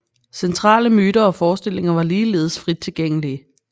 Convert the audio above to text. Centrale myter og forestillinger var ligeledes frit tilgængelige